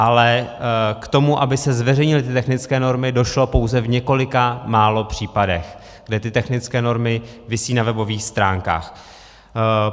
Ale k tomu, aby se zveřejnily ty technické normy, došlo pouze v několika málo případech, kde ty technické normy visí na webových stránkách.